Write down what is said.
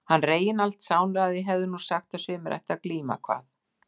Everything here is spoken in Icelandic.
Hann Reginbald sálaði hefði nú sagt að sumir ættu að glíma, kvað